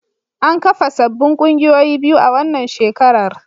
An kafa sabbin kungiyoyi biyu a wannan shekarar.